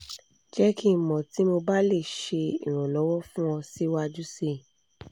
jẹ ki n mọ ti mo ba le ṣe iranlọwọ fun fun ọ siwaju sii